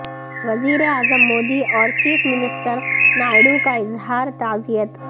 وزیراعظم مودی اور chief minister Naidu کا اظہار تعزیت